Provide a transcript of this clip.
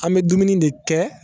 An bɛ dumuni de kɛ